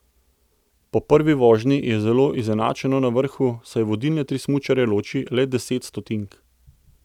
Po prvi vožnji je zelo izenačeno na vrhu, saj vodilne tri smučarje loči le deset stotink.